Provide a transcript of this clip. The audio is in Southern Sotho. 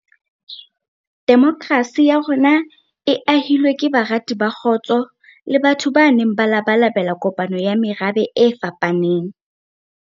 Demokrasi ya rona e ahilwe ke barati ba kgotso le batho ba neng ba labalabela kopano ya merabe e fapaneng.